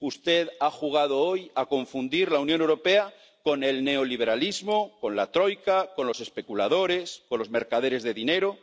Usted ha jugado hoy a confundir la Unión Europea con el neoliberalismo, con la troika, con los especuladores, con los mercaderes de dinero.